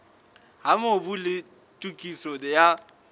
ha mobu le tokiso ya